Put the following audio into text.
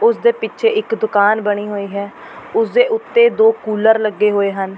ਉਸ ਦੇ ਪਿੱਛੇ ਇੱਕ ਦੁਕਾਨ ਬਣੀ ਹੋਈ ਹੈ ਉਸ ਦੇ ਉੱਤੇ ਦੋ ਕੁੱਲਰ ਲੱਗੇ ਹੋਏ ਹਨ।